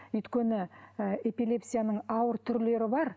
өйткені ы эпилепсияның ауыр түрлері бар